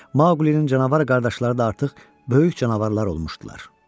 Maulinin canavar qardaşları da artıq böyük canavarlar olmuşdular.